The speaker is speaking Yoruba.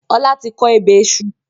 Ọlá tí kọ ebè iṣu